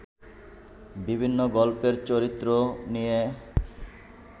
বিভিন্ন গল্পের চরিত্র নিয়ে